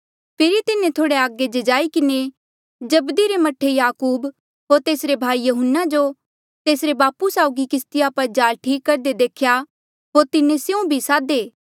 फेरी तिन्हें थोह्ड़ा अगे जाई किन्हें जब्दी रे मह्ठे याकूब होर तेसरे भाई यहून्ना जो तेसरे बापू साउगी किस्तिया पर जाल ठीक करदे देख्या होर तिन्हें स्यों भी सादे